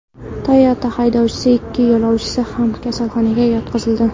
Toyota haydovchisi va ikki yo‘lovchisi ham kasalxonaga yotqizildi.